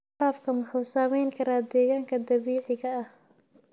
Waraabku wuxuu saameyn karaa deegaanka dabiiciga ah.